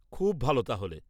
-খুব ভালো তাহলে।